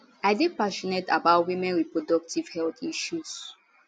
i dey passionate about women reproductive health issues